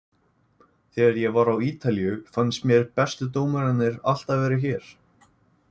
Þegar ég var á Ítalíu fannst mér bestu dómararnir alltaf vera hér.